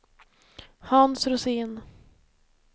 Hans Rosén